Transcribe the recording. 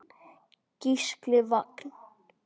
Gísli Vagn.